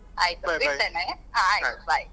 ಆಯ್ತು . ಹ ಆಯ್ತು bye .